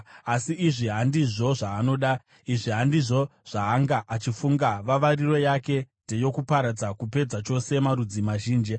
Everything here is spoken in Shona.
Asi izvi handizvo zvaanoda, izvi handizvo zvaanga achifunga; vavariro yake ndeyokuparadza, kupedza chose marudzi mazhinji.